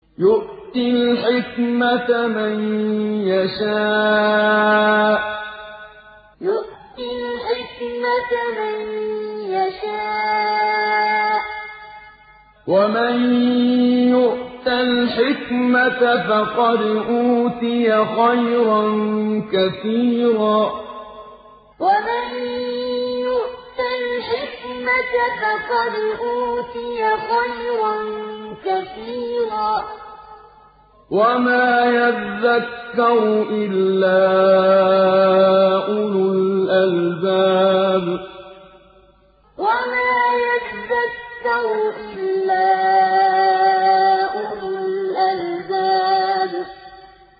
يُؤْتِي الْحِكْمَةَ مَن يَشَاءُ ۚ وَمَن يُؤْتَ الْحِكْمَةَ فَقَدْ أُوتِيَ خَيْرًا كَثِيرًا ۗ وَمَا يَذَّكَّرُ إِلَّا أُولُو الْأَلْبَابِ يُؤْتِي الْحِكْمَةَ مَن يَشَاءُ ۚ وَمَن يُؤْتَ الْحِكْمَةَ فَقَدْ أُوتِيَ خَيْرًا كَثِيرًا ۗ وَمَا يَذَّكَّرُ إِلَّا أُولُو الْأَلْبَابِ